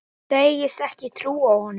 Segist ekki trúa honum.